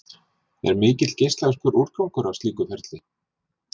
Er mikill geislavirkur úrgangur af slíku ferli?